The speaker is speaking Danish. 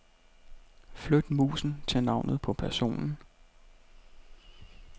Flyt musen til navnet på personen.